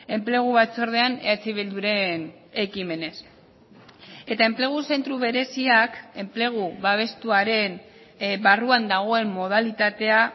enplegu batzordean eh bilduren ekimenez eta enplegu zentro bereziak enplegu babestuaren barruan dagoen modalitatea